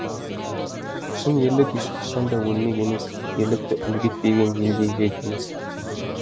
шын ерлік ешқашан да өлмек емес ерлікті үлгі етпеген ел де ел емес